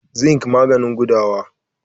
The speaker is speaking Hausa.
zinc maganin gudawa